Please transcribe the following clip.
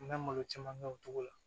N bɛ malo caman kɛ o cogo la